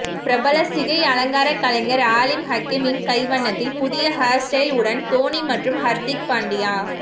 பிரபல சிகையலங்கார கலைஞர் ஆலிம் ஹக்கிமின் கைவண்ணத்தில் புதிய ஹேர் ஸ்டைல் உடன் தோனி மற்றும் ஹர்திக் பாண்டியா